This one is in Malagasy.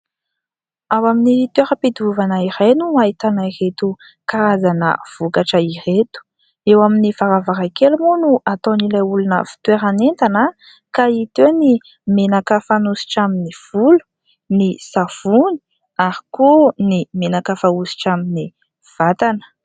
Ao amin'ny toeram-pidiovana iray no ahitana ireto karazana vokatra ireto. Eo amin'ny varavaran-kely moa no ataon'ilay olona fitoerana entana ka hita eo ny menaka fanositra amin'ny volo, ny savony ary koa menaka fanositra amin'ny vatana.